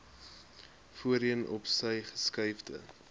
voorheen opsy geskuifde